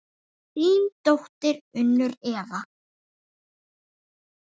Þín dóttir, Unnur Eva.